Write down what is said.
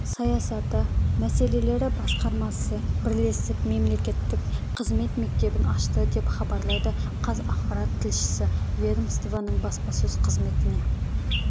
саясаты мәселелері басқармасы бірлесіп мемлекеттік қызмет мектебін ашты деп хабарлайды қазақпарат тілшісі ведомствоның баспасөз қызметіне